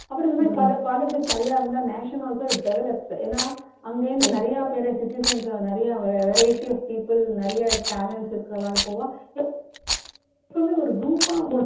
அப்பறம் இந்த மாதிரி பல colleges நிறைய இருந்தா nation also it develops ஏன்னா அங்க இருந்து நிறைய பேரை citizens உ நிறைய variety of people நிறைய talents இருக்குறவா போவா எப்பவுமே ஒரு group ஆ